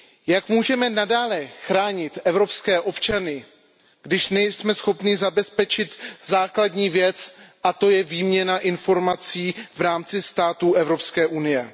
Jak můžeme nadále chránit evropské občany, když nejsme schopni zabezpečit základní věc, a to je výměna informací v rámci států Evropské unie?